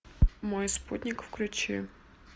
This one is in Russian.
мой спутник включи